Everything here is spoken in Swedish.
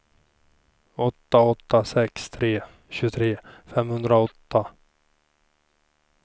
åtta åtta sex tre tjugotre femhundraåtta